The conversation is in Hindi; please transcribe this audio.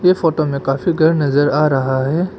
ये फोटो में काफी घर नजर आ रहा है।